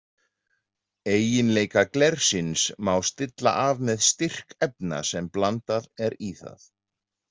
Eiginleika glersins má stilla af með styrk efna sem blandað er í það.